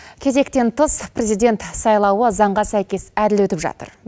кезектен тыс президент сайлауы заңға сәйкес әділ өтіп жатыр